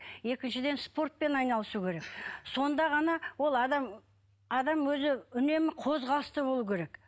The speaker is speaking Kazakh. екіншіден спортпен айналысу керек сонда ғана ол адам адам өзі үнемі қозғалыста болу керек